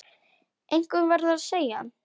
Einhver verður að segja hann.